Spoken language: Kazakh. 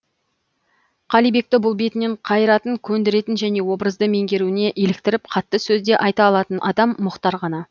қалибекті бұл бетінен қайыратын көндіретін және образды меңгеруіне иліктіріп қатты сөз де айта алатын адам мұхтар ғана